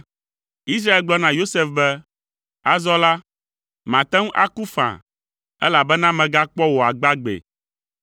Israel gblɔ na Yosef be, “Azɔ la, mate ŋu aku faa, elabena megakpɔ wò agbagbee.”